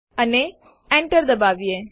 અને Enter દબાવીએ